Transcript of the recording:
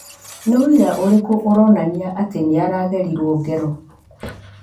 Ni ũira ũrĩkũ ũronania atĩ nĩaragerirwo ngero?